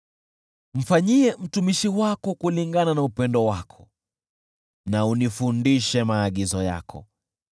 Mfanyie mtumishi wako kulingana na upendo wako na unifundishe maagizo yako.